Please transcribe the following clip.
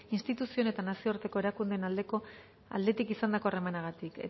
instituzion eta nazioarteko erakundeen aldetik izandako